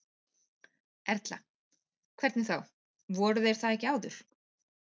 Erla: Hvernig þá, voru þeir það ekki áður?